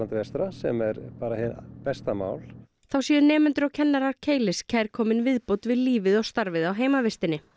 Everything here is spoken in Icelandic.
vestra sem er bara hið besta mál þá séu nemendur og kennarar Keilis kærkomin viðbót við lífið og starfið á heimavistinni